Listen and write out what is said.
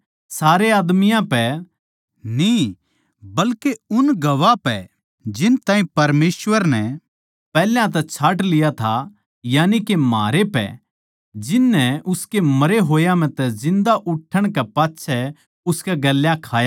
सारे आदमियाँ पै न्ही बल्के उन गवाह पै जिन ताहीं परमेसवर नै पैहल्या तै छाँट लिया था यानिके म्हारै पै जिन नै उसकै मरे होया म्ह तै जिन्दा उठण कै पाच्छै उसकै गेल्या खायापिया